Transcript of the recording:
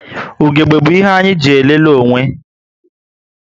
Ugegbe bu ihe anyị eji elele onwe